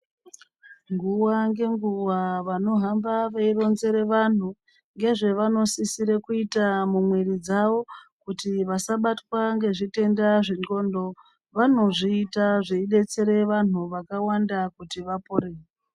Nguwa ngenguwa vanohamba veironzerw vanhu ngezvevanosisire kuita mumwiri dzawo kuti vasabatwa ngezvitenda zvendxondo Vanozviita zveidetsere vantu vakawanda kuti vapore.